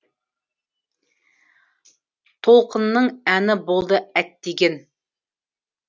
толқынның әні болды әттеген